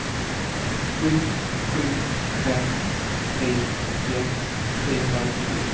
sju sju fem tre åttioett trehundranittiosju